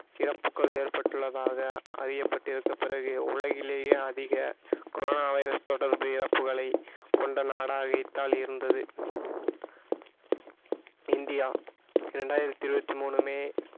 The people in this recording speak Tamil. இறப்புகள் ஏற்பட்டுள்ளதாக அறியப்பட்டிருக்கும் பிறகு உலகிலேயே அதிக கொரோனா வைரஸ் தொடர்ந்து இறப்புகளை கொண்ட நாடாக இத்தாலி இருந்தது இந்தியா இரண்டாயிரத்தி இருபத்தி மூணு மே